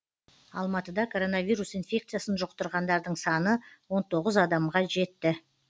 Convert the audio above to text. алматыда коронавирус инфекциясын жұқтырғандардың саны он тоғыз адамға жетті